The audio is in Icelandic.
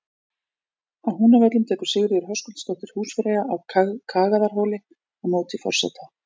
Á Húnavöllum tekur Sigríður Höskuldsdóttir húsfreyja á Kagaðarhóli á móti forseta.